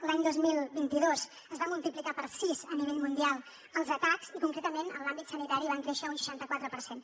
l’any dos mil vint dos es van multiplicar per sis a nivell mundial els atacs i concretament en l’àmbit sanitari van créixer un seixanta quatre per cent